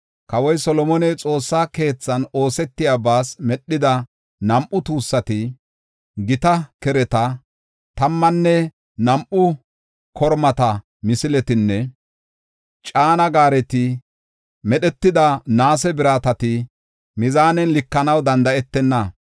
Kawoy Solomoney Xoossa keethan oosetiyabas medhida nam7u tuussati, gita kereta, tammanne nam7u kormata misiletinne caana gaareti medhetida naase biratati mizaanen likanaw danda7etenna.